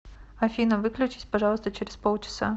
афина выключись пожалуйста через полчаса